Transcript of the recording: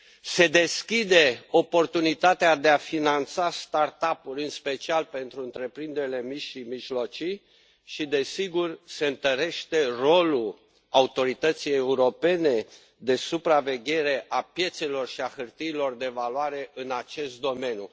se deschide oportunitatea de a finanța uri, în special pentru întreprinderile mici și mijlocii și, desigur, se întărește rolul Autorității europene de supraveghere a piețelor și a hârtiilor de valoare în acest domeniu.